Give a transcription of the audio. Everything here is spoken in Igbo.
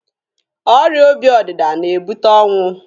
Ọrịa obi ọdịda na-ebute ọnwụ.